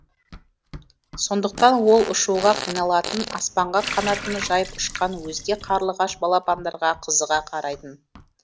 сондықтан ол ұшуға қиналатын аспанға қанатын жайып ұшқан өзге қарлығаш балапандарға қызыға қарайтын